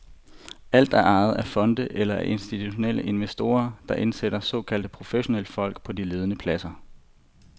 Alt er ejet af fonde eller af institutionelle investorer, der indsætter såkaldte professionelle folk på de ledende pladser.